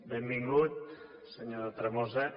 benvingut senyor tremosa